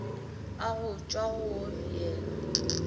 a go tšwa go yena